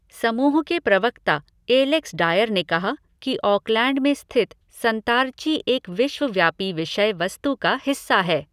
समूह के प्रवक्ता एलेक्स डायर ने कहा कि ऑकलैंड में स्थित संतारची एक विश्वव्यापी विषय वस्तु का हिस्सा है।